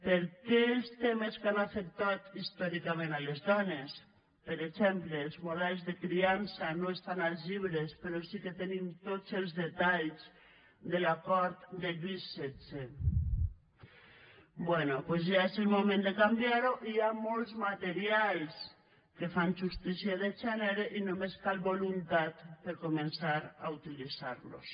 per què els temes que han afectat històricament les dones per exemple els models de criança no estan als llibres però sí que hi tenim tots els detalls de la cort de lluís xvi bé doncs ja és el moment de canviar ho hi ha molts materials que fan justícia de gènere i només cal voluntat per començar a utilitzar los